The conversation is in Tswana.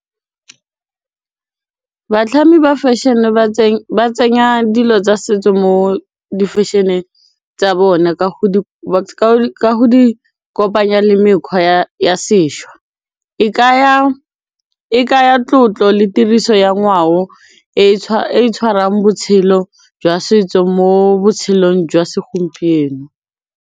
Bstlhami ba fashion-e ba tsenya dilo tsa setso mo di fashion-eng tsa bona ka go kopanya le mekgwa ya sešwa e kaya e kaya tlotlo le tiriso ya ngwao e e tshwarang botshelo jwa setso mo botshelong jwa segompieno.